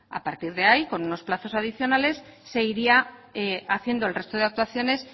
a partir de ahí con unos plazos adicionales se iría haciendo el resto de actuaciones